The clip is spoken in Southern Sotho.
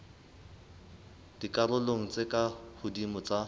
dikarolong tse ka hodimo tsa